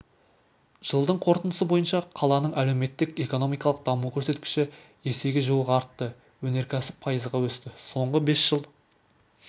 жылдың қорытындысы бойынша қаланың әлеуметтік-экономикалық даму көрсеткіші есеге жуық артты өнеркәсіп пайызға өсті соңғы бес жыл